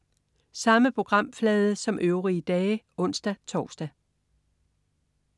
Samme programflade som øvrige dage (ons-tors)